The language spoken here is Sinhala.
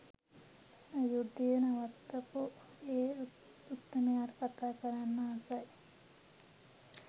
යුද්ධය නවත්තපු ඒ උත්තමයාට කතා කරන්නත් ආසයි.